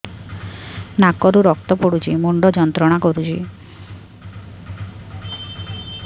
ନାକ ରୁ ରକ୍ତ ପଡ଼ୁଛି ମୁଣ୍ଡ ଯନ୍ତ୍ରଣା କରୁଛି